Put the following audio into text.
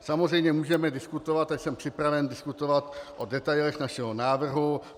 Samozřejmě můžeme diskutovat - a jsem připraven diskutovat - o detailech našeho návrhu.